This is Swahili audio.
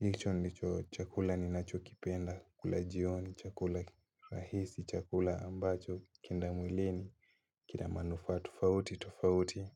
Hicho ndicho chakula ninachokipenda. Chakula jioni, chakula rahisi, chakula ambacho, kikienda mwilini. Kina manufaa tofauti tofauti.